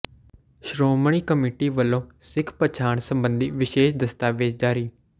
Shiromani committee ਵੱਲੋਂ ਸਿੱਖ ਪਛਾਣ ਸਬੰਧੀ ਵਿਸ਼ੇਸ਼ ਦਸਤਾਵੇਜ਼ ਜਾਰੀ